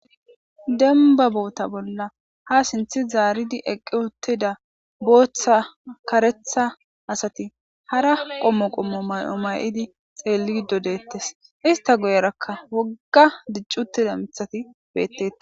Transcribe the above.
Demba bolla ha sinthe zaridi eqiuttida karetha bootha asati hara qomo qomo mayo mayidi xeelido de'etees. Ista guyeraka woga dici uttida mithati bettetes.